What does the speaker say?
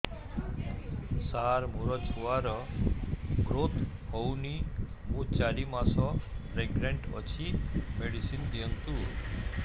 ସାର ମୋର ଛୁଆ ର ଗ୍ରୋଥ ହଉନି ମୁ ଚାରି ମାସ ପ୍ରେଗନାଂଟ ଅଛି ମେଡିସିନ ଦିଅନ୍ତୁ